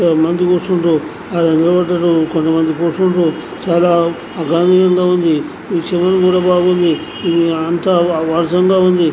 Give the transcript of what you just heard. బాగుంది చెరువు కూడా బాగుంది ఆనందంగా ఉంది --